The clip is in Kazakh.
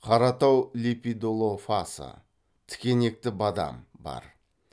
қаратау лепидолофасы тікенекті бадам бар